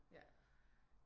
Ja